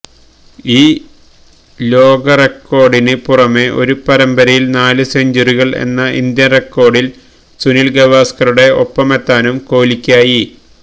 ഈ ലൊകറെക്കോര്ഡിന് പുറമേ ഒരു പരമ്പരയില് നാല് സെഞ്ചുറികള് എന്ന ഇന്ത്യന് റെക്കോര്ഡില് സുനില് ഗാവസ്കറുടെ ഒപ്പമെത്താനും കോലിക്കായി